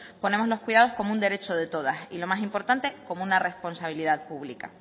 ponemos los cuidados como un derecho de todas y lo más importante como una responsabilidad pública